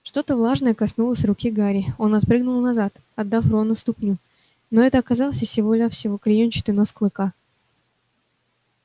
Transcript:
что-то влажное коснулось руки гарри он отпрыгнул назад отдав рону ступню но это оказался всего-навсего клеёнчатый нос клыка